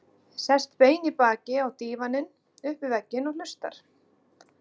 Sest bein í baki á dívaninn upp við vegginn og hlustar.